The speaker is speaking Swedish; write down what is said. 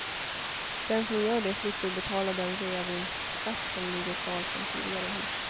Den som gör det slipper betala den reavinstskatt som ligger kvar från tidigare hus.